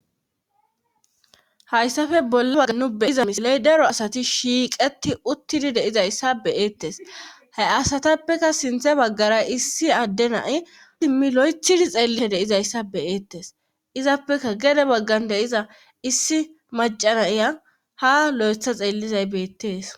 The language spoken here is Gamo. Hayssafe bolle waga nu beiza misile7 daro asati shiiqeti uttidi deizayssa beyeettes ha asatappeka sinthe baggara issi adde nai simmi lo7ethidi xeellisa deizayssa beyeettes izappeka gede baggan deiza issi macanaya ha lo7etha xeellizay beettees.